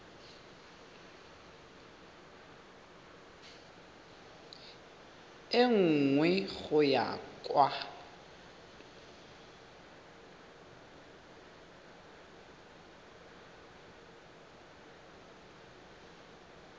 e nngwe go ya kwa